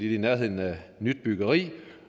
er i nærheden af nyt byggeri